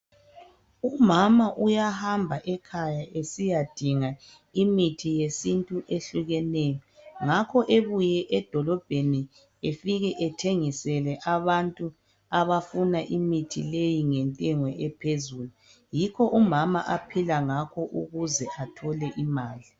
Umama uyahamba ekhaya esiyadinga imithi yesintu ehlukeneyo ngakho ebuye edolobheni efike ethengisele abantu abafuna imithi leyi ngentengo ephezulu yikho umama aphila ngakho ukuze athole imali.